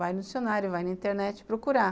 Vai no dicionário, vai na internet procurar.